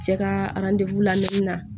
Cɛ ka lamini na